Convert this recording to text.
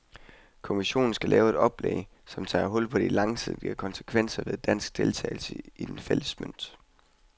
Kommissionen skal lave et oplæg, som tager hul på de langsigtede konsekvenser ved dansk deltagelse i den fælles mønt.